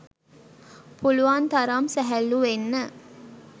පුළුවන් තරම් සැහැල්ලු වෙන්න.